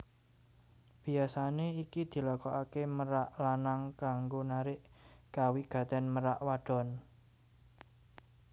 Biyasané iki dilakokaké merak lanang kanggo narik kawigatèn merak wadon